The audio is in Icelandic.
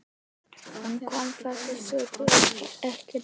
Hann kom þessari sögu ekkert við.